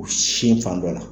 U sin fan dɔ la.